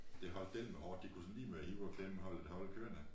Det holdt dælme hårdt de kunne lige sådan ved at hive og klemme holde holdet kørende